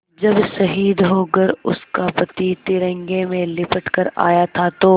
जब शहीद होकर उसका पति तिरंगे में लिपट कर आया था तो